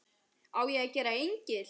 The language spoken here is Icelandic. Á ég að gera engil?